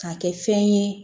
K'a kɛ fɛn ye